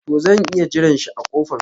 To zan iya jiran shi a kofan.